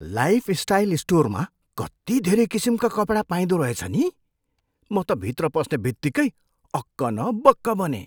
Lifestyle स्टोरमा कति धेरै किसिमका कपडा पाइँदो रहेछ नि! म त भित्र पस्ने बित्तिकै अक्क न बक्क बनेँ।